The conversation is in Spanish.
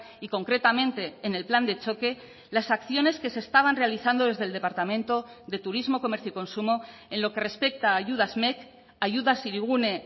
y concretamente en el plan de choque las acciones que se estaban realizando desde el departamento de turismo comercio y consumo en lo que respecta a ayudas mec ayudas hirigune